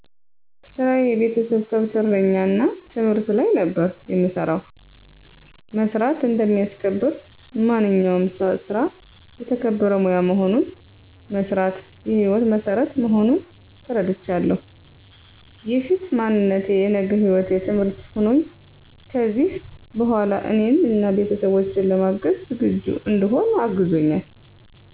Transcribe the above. ስራየ የቤተሰብ ከብት እረኛ እና ትምህርት ላይ ነበር የምሰራው። መስራት እንደሚያስከብር፣ ማንኛውም ስራ የተከበረ ሙያ መሆኑን፣ መስራት የሕይወት መሠረት መሆኑን ተረድቻለሁ። የፊት ማንነቴ የነገ ህይወቴ ትምህርት ሆኖኝ ከዚሕ በኋላ እኔን አና ቤተሠቦቼን ለማገዝ ዝግጁ እንድሆን አግዞኛል።